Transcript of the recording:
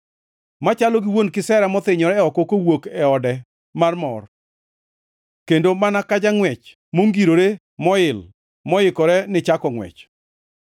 machalo gi wuon kisera mothinyore oko kawuok e ode mar mor, kendo mana ka jangʼwech mongirore moil moikore ni chako ngʼwech.